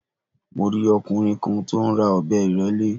Mo rí ọkùnrin kan tí ó ń ra ọ̀bẹ ìrẹ́lé